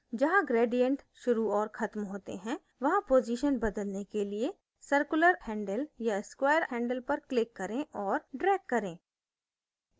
जहाँ gradient शुरू और खत्म होते हैं वहाँ position बदलने के लिए circular handle या square handle पर click करें और drag करें